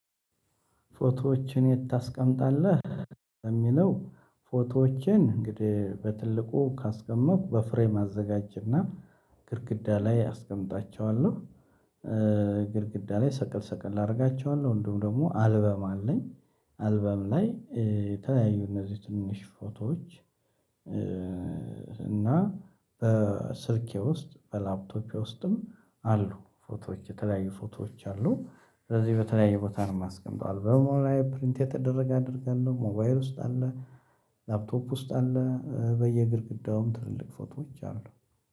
ፎቶዎችን የት ታስቀምጣለህ? እሚለው ፎቶዎችን እንግዲህ በትልቁ ካስቀመጥኩ በፍሬም አዘጋጅ እና ግድግዳ ላይ አስቀምጣቸዋለሁ። ኧ ግድግዳ ላይ ሰቀል ሰቀል ላረጋቸዋለሁ እንዲሁም ደግሞ አልበም አለኝ። አልበም ላይ ኧ የተለያዩ እነዚህ ትንንሽ ፎቶዎች ኧ እና በስልኬ ውስጥ በላፕቶፔ ውስጥም አሉ ፎቶዎች የተለያዩ ፎቶዎች አሉ። ስለዚህ በተለያየ ቦታ ነው የማስቀምጠው አልበሙ ላይ ፕሪንት የተደረገ አደርጋለሁ ሞባይሉ ውስጥ አለ። ላፕቶፑ ውስጥ አለ በየግድግዳውም ትልልቅ ፎቶዎች አሉ